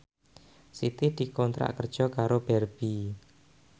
Siti dikontrak kerja karo Barbie